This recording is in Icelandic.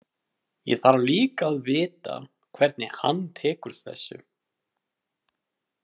Ég þarf líka að vita hvernig hann tekur þessu.